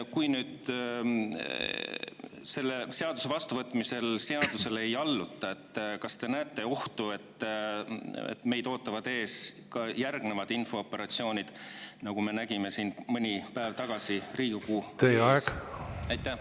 Kui nüüd selle seaduse vastuvõtmise korral seadusele ei alluta, siis kas te näete ohtu, et meid ootavad ees ka järgnevad infooperatsioonid, nagu me nägime siin mõni päev tagasi Riigikogu ees?